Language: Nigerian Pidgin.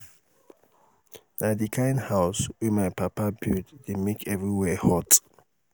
na di kind house house wey my papa build dey make everywhere hot.